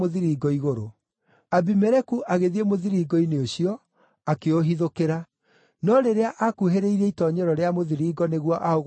Abimeleku agĩthiĩ mũthiringo-inĩ ũcio, akĩũhithũkĩra. No rĩrĩa akuhĩrĩirie itoonyero rĩa mũthiringo nĩguo aũgwatie mwaki-rĩ,